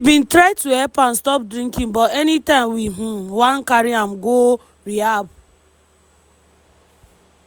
"we bin try to help am stop drinking but anytime we um wan carry am go rehab